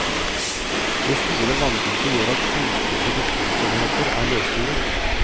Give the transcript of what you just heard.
Det store vanndypet gjør at flytende produksjonsenheter er løsningen.